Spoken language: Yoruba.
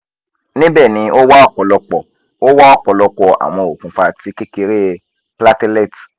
nibẹ ni o wa ọpọlọpọ o wa ọpọlọpọ awọn okunfa ti kekere platelet